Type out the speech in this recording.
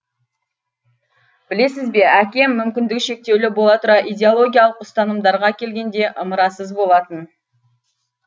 білесіз бе әкем мүмкіндігі шектеулі бола тұра идеологиялық ұстанымдарға келгенде ымырасыз болатын